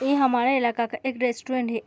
ए हमारे इलाका का एक रेस्टोरेंट है।